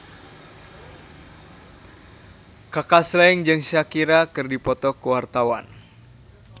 Kaka Slank jeung Shakira keur dipoto ku wartawan